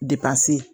Depansi